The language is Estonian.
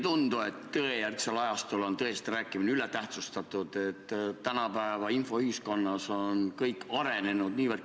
Sain ma õigesti aru, et invaliidikesed peavad veel viis aastat ootama, enne kui neid keegi jaamas rongi peale aitab?